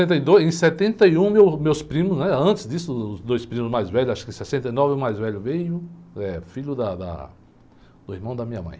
Setenta e dois, em setenta e um, eu, meus primos, antes disso, os dois primos mais velhos, acho que em sessenta e nova o mais velho veio, eh, filho da da, do irmão da minha mãe.